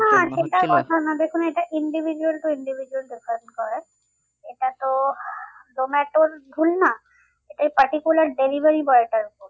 দেখুন এটা individual to individual depend করে এটা তো জোমাটোর ভুল না particular delivery boy টার ভুল